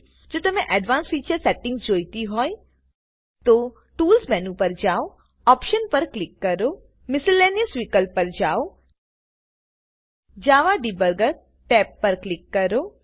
જો તમને advance future setting જોઈતી હોય તો ટૂલ્સ મેનુ પર જાવ ઓપ્શન્સ પર કિલ કરો મિસેલેનિયસ વિકલ્પ પર જાઓ જાવા ડિબગર ટેબ પર ક્લિક કરો